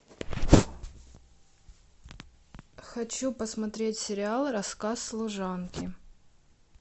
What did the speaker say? хочу посмотреть сериал рассказ служанки